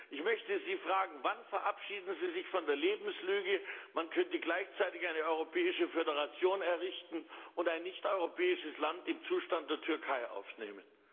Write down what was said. Ich möchte Sie fragen Wann verabschieden Sie sich von der Lebenslüge, man könnte gleichzeitig eine europäische Föderation errichten und ein nichteuropäisches Land im Zustand der Türkei aufnehmen?